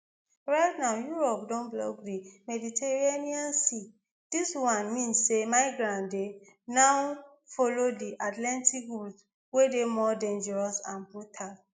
right now europe don block di mediterranean sea dis one mean say migrants dey now follow di atlantic route wey dey more dangerous and brutal